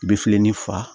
I bɛ filennin fa